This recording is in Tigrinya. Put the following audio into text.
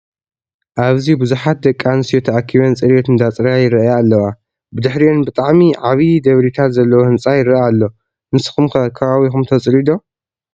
ኣብዚ ቡዝሓት ደቂ ኣንስትዮ ተኣኪበን ፅሪት አንዳፅረያ ይረኣያ ኣለዎ። ብድሕሪአን ብሓዕሚ ዓብይ ደብሪታት ዘለዎ ህንፃ ይረአ ኣሎ። ንስኩም ከ ከባቢኩም ተፅርዩ ደ?